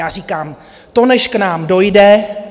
Já říkám, to než k nám dojde.